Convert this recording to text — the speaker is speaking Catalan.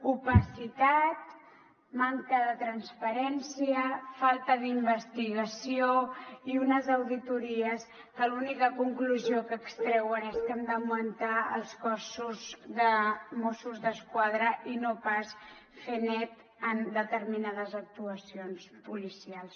opacitat manca de transparència falta d’investigació i unes auditories que l’única conclusió que ex treuen és que hem d’augmentar els nombre de mossos d’esquadra i no pas fer net en determinades actuacions policials